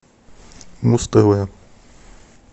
муз тв